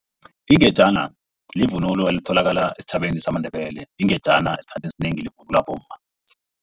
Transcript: Ingejana livunulo elitholakala esitjhabeni samaNdebele. Ingejana esikhathini esinengi livunulwa bomma.